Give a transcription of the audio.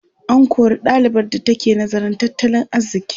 An kori ɗalibar da take nazarin tattalin arziƙi.